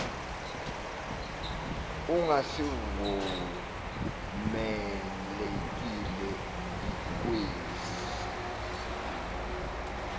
anga sivumelekile kwesi